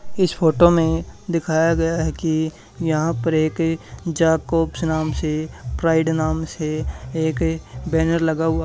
इस फोटो में दिखाया गया है कि यहां पर एक जाकोब्स नाम से प्राइड नाम से एक बैनर लगा हुआ--